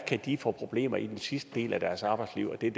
kan få problemer i den sidste del af deres arbejdsliv og der